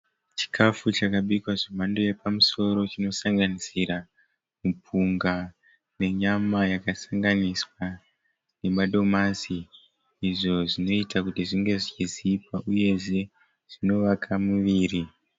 Chikafu chakabikwa zvemhando yapamusoro chinosanganisira mupunga nenyama yakasanganiswa namadomasi izvo zvinoita kuti zvinge zvichizipa uyezve zvinovaka muviri.